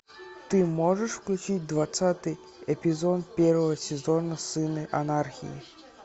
ты можешь включить двадцатый эпизод первого сезона сыны анархии